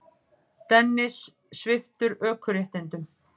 Dennis sviptur ökuréttindum